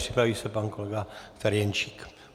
Připraví se pan kolega Ferjenčík.